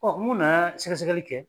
mun nana sɛgɛsɛgɛli kɛ